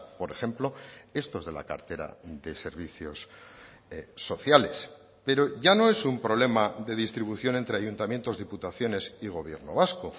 por ejemplo estos de la cartera de servicios sociales pero ya no es un problema de distribución entre ayuntamientos diputaciones y gobierno vasco